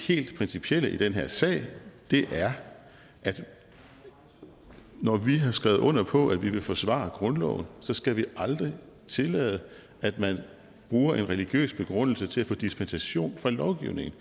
helt principielle i den her sag er at når vi har skrevet under på at vi vil forsvare grundloven så skal vi aldrig tillade at man bruger en religiøs begrundelse til at få dispensation fra lovgivningen